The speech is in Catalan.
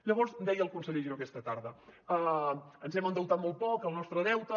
llavors deia el conseller giró aquesta tarda ens hem endeutat molt poc el nostre deute